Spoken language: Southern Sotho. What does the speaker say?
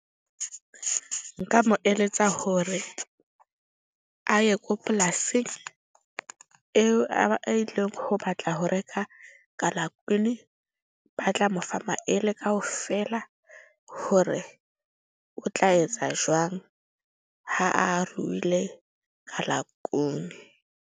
Nka mo eletsa hore a ye ko polasing eo a ileng ho batla ho reka kalakuni. Ba tla mo fa maele kaofela hore o tla etsa jwang ha a ruile kalakuni.